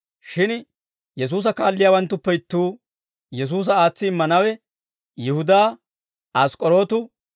Shin Yesuusa kaalliyaawanttuppe ittuu, Yesuusa aatsi immanawe, Yihudaa Ask'k'orootu,